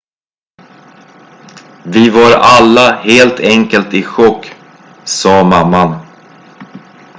"""vi var alla helt enkelt i chock," sa mamman.